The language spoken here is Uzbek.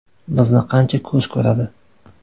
Bizni qancha ko‘z ko‘radi.